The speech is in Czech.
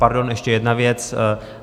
Pardon, ještě jedna věc.